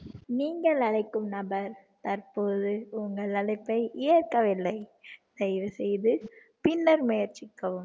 நீங்கள் அழைக்கும் நபர் தற்போது உங்கள் அழைப்பை ஏற்கவில்லை தயவு செய்து பின்னர் முயற்சிக்கவும்